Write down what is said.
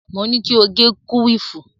Mo ní kí o gẹ kúwìfù.